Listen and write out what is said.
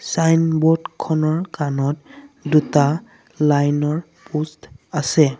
Signboard খনৰ কানত দুটা লাইন ৰ প'ষ্ট আছে।